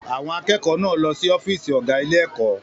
Àwọn akẹ́kọ̀ọ́ náà lọ sí ọ́fíìsì ọ̀gá ilé-ẹ̀kọ́.